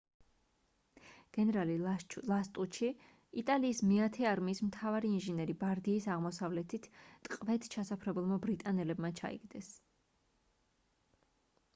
გენერალი ლასტუჩი იტალიის მეათე არმიის მთავარი ინჟინერი ბარდიის აღმოსავლეთით ტყვედ ჩასაფრებულმა ბრიტანელებმა ჩაიგდეს